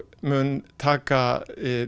mun taka